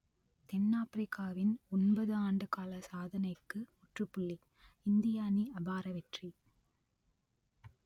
தென் ஆப்பிரிக்காவின் ஒன்பது ஆண்டுகால சாதனைக்கு முற்றுப்புள்ளி இந்திய அணி அபார வெற்றி